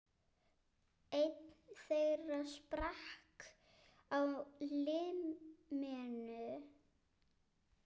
Einn þeirra sprakk á limminu